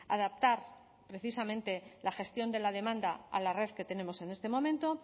adaptar precisamente la gestión de la demanda a la red que tenemos en este momento